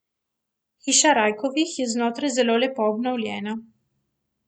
Hiša Rajkovih je znotraj zelo lepo obnovljena.